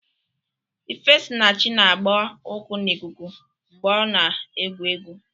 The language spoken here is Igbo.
Ifesinachi na-agba ụkwụ n'ikuku mgbe ọ na-egwu egwu.